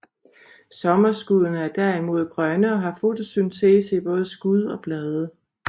Sommerskuddene er derimod grønne og har fotosyntese i både skud og blade